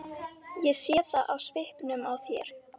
Ég sé það á svipnum á þér.